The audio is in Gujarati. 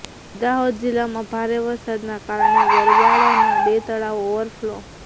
દાહોદ જિલ્લામાં ભારે વરસાદના કારણે ગરબાડાના બે તળાવો ઓવરફ્લો